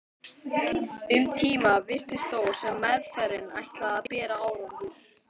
Um tíma virtist þó sem meðferðin ætlaði að bera árangur.